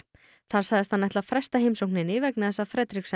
þar sagðist hann ætla að fresta heimsókninni vegna þess að